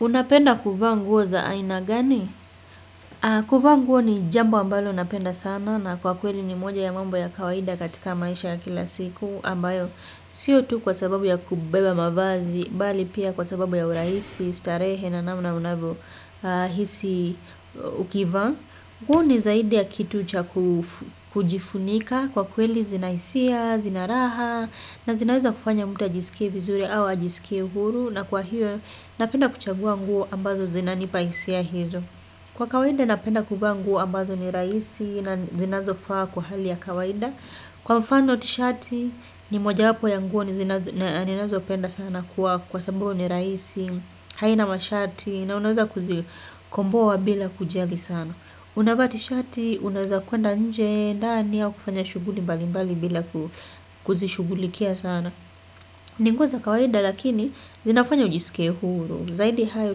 Unapenda kuvaa nguo za aina gani? Kuvaa nguo ni jambo ambalo napenda sana na kwa kweli ni moja ya mambo ya kawaida katika maisha ya kila siku ambayo. Sio tu kwa sababu ya kubeba mavazi, bali pia kwa sababu ya urahisi, starehe na namna unavyohisi ukivaa. Huo ni zaidi ya kitu cha kujifunika kwa kweli zinahisia, zinaraha na zinaweza kufanya mtu ajisike vizuri au ajisike huru na kwa hiyo napenda kuchagua nguo ambazo zina nipahisia hizo. Kwa kawaida napenda kuvaa nguo ambazo ni rahisi na zinazofaa kwa hali ya kawaida. Kwa mfano tishati ni moja wapo ya nguo ni zinazopenda sana kwa kwa sababu ni rahisi, haina mashati na unaweza kuzikomboa bila kujali sana. Unavaa tishati, unaweza kuenda nje, ndani au kufanya shughuli mbalimbali bila kuzishughulikia sana. Ni nguo za kawaida lakini zinafanya ujisike huru. Zaidi hayo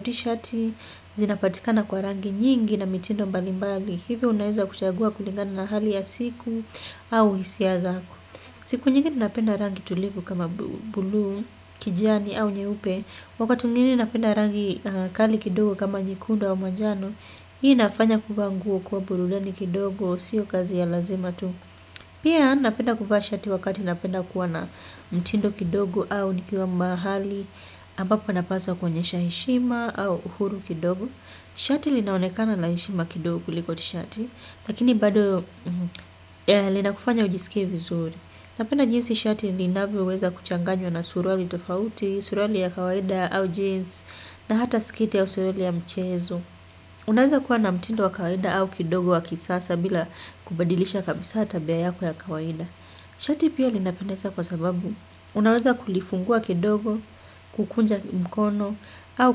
tishati, zinapatikana kwa rangi nyingi na mitindo mbali mbali. Hivyo unaweza kuchagua kulingana na hali ya siku au hisia zako. Siku nyingi ninapenda rangi tulivu kama buluu, kijani au nyeupe. Wakati mwingine ninapenda rangi kali kidogo kama nyekundu au manjano. Hii inafanya kuvaa nguo kuwa burudani kidogo, sio kazi ya lazima tu. Pia napenda kuvaa shati wakati napenda kuwa na mtindo kidogo au nikiwa mahali, ambapo napaswa kuonyesha heshima au uhuru kidogo. Shati linaonekana la heshima kidogo kuliko tishati, lakini bado lina kufanya ujisikie vizuri. Napenda jinsi shati linavyoweza kuchanganywa na suruali tofauti, suruali ya kawaida au jeans, na hata sketi ya haswa ile ya mchezo. Unaweza kuwa na mtindo wa kawaida au kidogo wa kisasa bila kubadilisha kabisa tabia yako ya kawaida. Shati pia linapendeza kwa sababu. Unaweza kulifungua kidogo, kukunja mkono au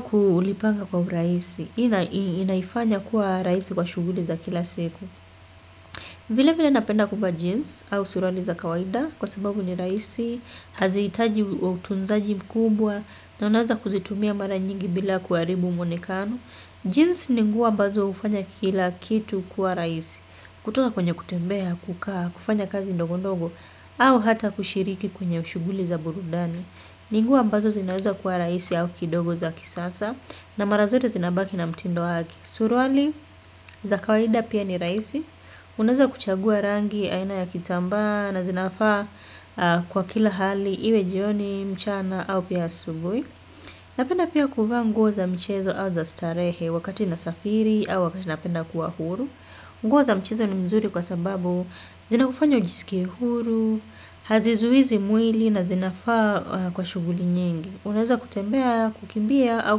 kulipanga kwa urahisi. Inaifanya kuwa rahisi kwa shughuli za kila siku. Vile vile napenda kuvaa jeans au suruali za kawaida kwa sababu ni rahisi. Hazihitaji utunzaji mkubwa na unaweza kuzitumia mara nyingi bila kuharibu muonekano. Jeans ni nguo ambazo hufanya kila kitu kuwa rahisi. Kutoka kwenye kutembea, kukaa, kufanya kazi ndogo ndogo au hata kushiriki kwenye shughuli za burudani. Ni nguo ambazo zinaweza kuwa rahisi au kidogo za kisasa na mara zote zinabaki na mtindo wake. Suruali za kawaida pia ni rahisi. Unaweza kuchagua rangi aina ya kitambaa na zinafaa kwa kila hali iwe jioni mchana au pia asubuhi. Napenda pia kuvaa nguo za michezo au za starehe wakati nasafiri au wakati napenda kuwa huru. Nguo za mchezo ni mzuri kwa sababu zinakufanya ujisikia huru, hazizuizi mwili na zinafaa kwa shughuli nyingi. Unaweza kutembea, kukimbia au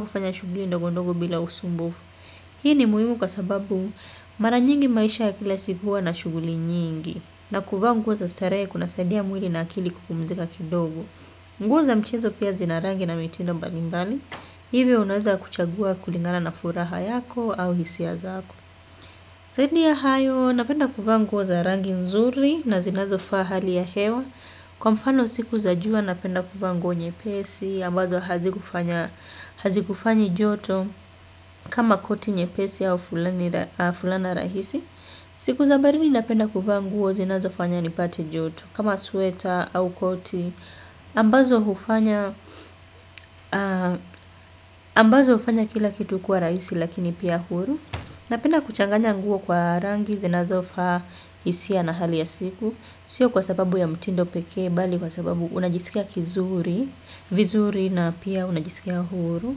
kufanya shughuli ndogo ndogo bila usumbufu. Hii ni muhimu kwa sababu mara nyingi maisha ya kila siku huwa na shughuli nyingi. Na kuvaa nguo za starehe kuna saidia mwili na akili kupumzika kidogo. Nguo za mchezo pia zina rangi na mitindo mbalimbali, hivyo unaweza kuchagua kulingana na furaha yako au hisia zako. Zaidi ya hayo, napenda kuvaa nguo za rangi nzuri na zinazofa hali ya hewa. Kwa mfano siku za jua napenda kuvaa nguo nyepesi, ambazo hazikufanyi joto kama koti nyepesi au fulana rahisi. Siku za baridi napenda kuvaa nguo zinazofanya nipate joto kama sweta au koti ambazo hufanya kila kitu kwa rahisi lakini pia huru. Napenda kuchanganya nguo kwa rangi zinazofaa hisia na hali ya siku. Sio kwa sababu ya mtindo pekee bali kwa sababu unajisikia kizuri. Vizuri na pia unajisikia huru.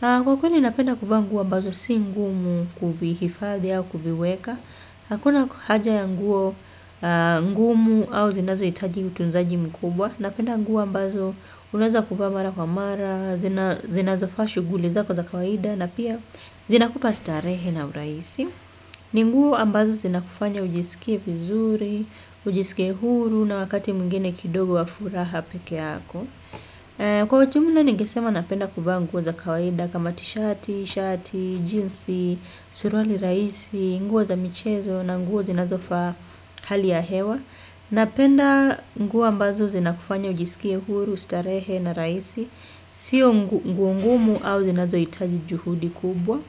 Kwa kweli napenda kuvaa nguo ambazo si ngumu kuvihifadi au kuviweka. Hakuna haja ya nguo ngumu au zinazohitaji utunzaji mkubwa. Napenda nguo ambazo unaweza kuvaa mara kwa mara zinazofaa shughuli zako za kawaida na pia zinakupa starehe na urahisi. Ni nguo ambazo zinakufanya ujisikie vizuri ujisikie huru na wakati mwingine kidogo wa furaha peke yako. Kwa ujumla ningesema napenda kuvaa nguo za kawaida kama tishati, shati, jinsi, suruali rahisi. Nguo za michezo na nguo zinazofaa hali ya hewa. Napenda ngup ambazo zinakufanya ujisikie huru, starehe na rahisi. Sio nguo ngumu au zinazohitaji juhudi kubwa.